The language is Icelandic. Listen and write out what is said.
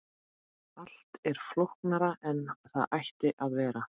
allt er flóknara en það ætti að vera